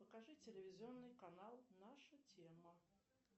покажи телевизионный канал наша тема